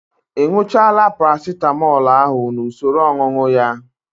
Ị ñụchaala Paracitamọl ahụ n'usoro ọñụñụ ya?